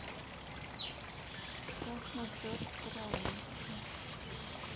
как насчет караоке